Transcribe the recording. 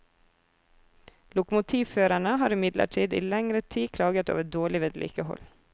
Lokomotivførerne har imidlertid i lengre tid klaget over dårlig vedlikehold.